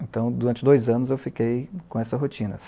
Então, durante dois anos, eu fiquei com essa rotina.